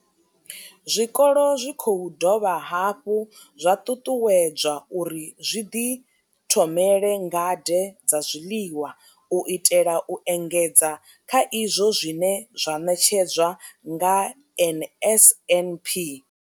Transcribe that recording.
Zwikolo zwi khou dovha hafhu zwa ṱuṱuwedzwa uri zwi ḓithomele ngade dza zwiḽiwa u itela u engedza kha izwo zwine zwa ṋetshedzwa nga NSNP.